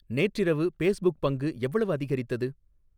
நேற்றிரவு பேஸ்புக் பங்கு எவ்வளவு அதிகரித்தது